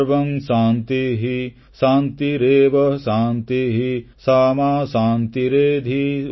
ସର୍ବଂ ଶାନ୍ତିଃ ଶାନ୍ତିରେବ ଶାନ୍ତିଃ ସାମା ଶାନ୍ତିରେଧି